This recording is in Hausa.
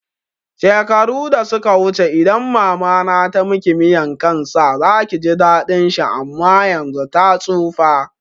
Shekaru da suka wuce idan mama na tamiki miyan kan sa zaki ji daɗin shi ama yanzun ta tsufa